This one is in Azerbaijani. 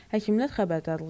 Həkimlər xəbərdarlıq edir.